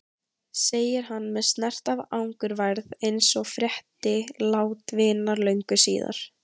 segir hann með snert af angurværð eins og frétti lát vinar löngu síðar.